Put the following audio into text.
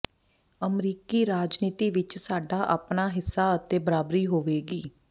ਅਮਰੀਕੀ ਰਾਜਨੀਤੀ ਵਿਚ ਸਾਡਾ ਆਪਣਾ ਹਿੱਸਾ ਅਤੇ ਬਰਾਬਰੀ ਹੋਵੇਗੀ